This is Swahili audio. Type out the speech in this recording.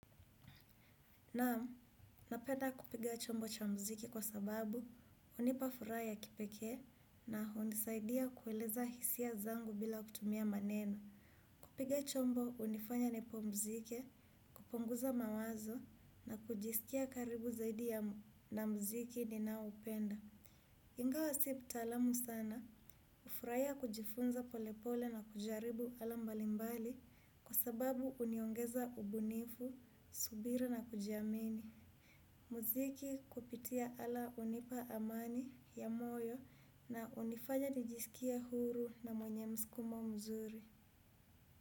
Naam, napenda kupiga chombo cha mziki kwa sababu hunipa furaha ya kipekee na hunisaidia kueleza hisia zangu bila kutumia maneno. Kupiga chombo hunifanya nipumzike, kupunguza mawazo na kujisikia karibu zaidi na mziki ninaoupenda. Ingawa si mtaalamu sana, hufuraia kujifunza polepole na kujaribu ala mbalimbali kwa sababu huniongeza ubunifu, subira na kujiamini. Muziki kupitia ala hunipa amani ya moyo na hunifanya nijisikie huru na mwenye mskumo mzuri.